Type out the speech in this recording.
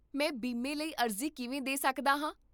ਮੈਂ ਬੀਮੇ ਲਈ ਅਰਜ਼ੀ ਕਿਵੇਂ ਦੇ ਸਕਦਾ ਹਾਂ?